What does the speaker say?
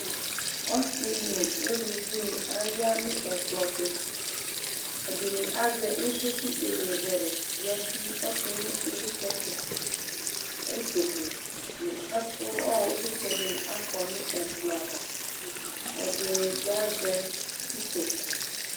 Ɔsɩ nʋ uluvinɩ aya nʋ ɛkplɔ tʋ Ɛdɩnɩ azɛ ɩvlɩ kʋ iyeyezɛlɛ yǝdu ɔtʋ nʋ ɩvlɩtsɛ tʋ Utoku nʋ ɛkʋ ɔɣɔ ɩvlɩtsɛ dɩnɩ akɔ nʋ ɛkplɔ ava Ɛdɩnɩ bɩ azɛ utoku